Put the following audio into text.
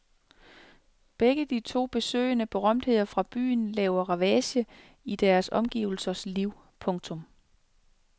Begge de to besøgende berømtheder fra byen laver ravage i deres omgivelsers liv. punktum